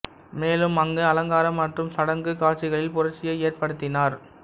மேலும் அங்கு அலங்கார மற்றும் சடங்கு காட்சிகளில் புரட்சியை ஏற்படுத்தினார்